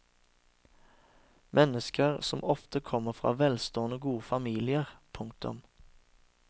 Mennesker som ofte kommer fra velstående og gode familier. punktum